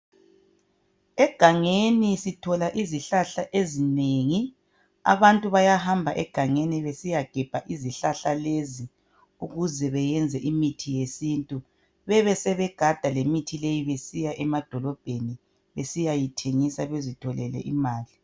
Egangeni sithola izihlahla ezinengi abantu bayahamba egangeni besiyagebha izihlahla lezi ukuze bayenze imithi yesintu bebesegada lemithi leyi besiya emadolobheni besebesiyayithengisa bazitholele imali.